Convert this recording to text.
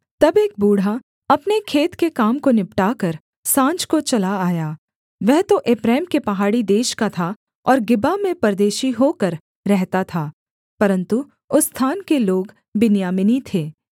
तब एक बूढ़ा अपने खेत के काम को निपटाकर साँझ को चला आया वह तो एप्रैम के पहाड़ी देश का था और गिबा में परदेशी होकर रहता था परन्तु उस स्थान के लोग बिन्यामीनी थे